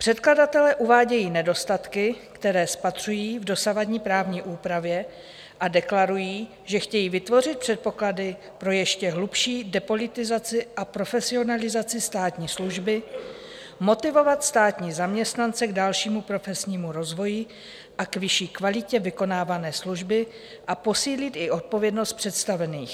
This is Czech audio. Předkladatelé uvádějí nedostatky, které spatřují v dosavadní právní úpravě, a deklarují, že chtějí vytvořit předpoklady pro ještě hlubší depolitizaci a profesionalizaci státní služby, motivovat státní zaměstnance k dalšímu profesnímu rozvoji a k vyšší kvalitě vykonávané služby a posílit i odpovědnost představených.